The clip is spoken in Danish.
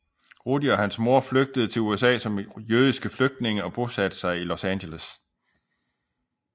Rudi og hans mor flygtede til USA som jødiske flygtninge og bosatte sig i Los Angeles